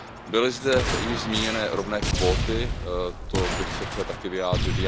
Byly zde již zmíněny rovné kvóty, to bych se chtěl také vyjádřit.